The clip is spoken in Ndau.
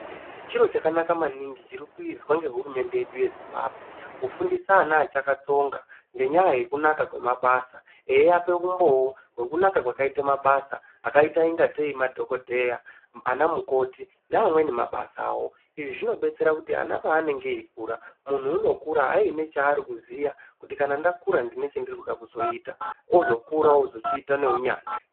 Chiro chakanaka maningi chiri kuizwa nehurumende yedu yezimbambwe kufundisa ana achakatsonga ngenya yekunaka kwemabasa. Eiapa umboo hwekunaka kwakaite mabasa akaita kungeteei madhogodheya ana mukoti neamweni mabasavo. Izvi zvinobetsera kuti ana paanenge eikura muntu unokura aine chaari kuziya kuti kana ndakura ndine chandiri kuda kuzoita ozokura ozochiita neunyanzvi.